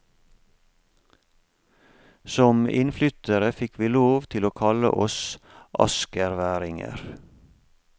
Som innflyttere fikk vi lov til å kalle oss askerværinger.